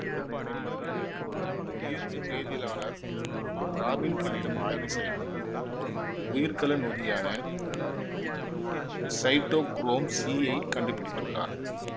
பின்னர் இவர் உயிர்வேதியியலாலர் இராபின் கில்லிடம் ஆய்வு செய்து உயிர்க்கல நொதியான சைட்டொகுரோம் சி யைக் கண்டு பிடித்துள்ளார்